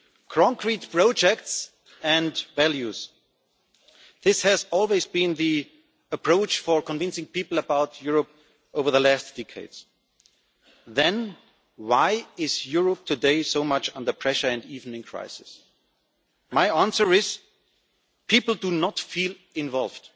Concrete projects and values this has always been the approach for convincing people about Europe over the last decades. So why, today, is Europe under so much pressure and even in crisis? My answer is people do not feel involved.